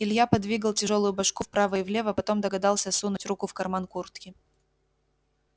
илья подвигал тяжёлую башку вправо и влево потом догадался сунуть руку в карман куртки